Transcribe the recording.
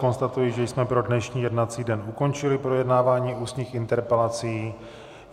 Konstatuji, že jsme pro dnešní jednací den ukončili projednávání ústních interpelací.